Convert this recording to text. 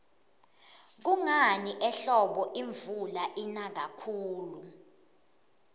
kungani ehlobo imvula ina kakhuli